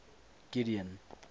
gideon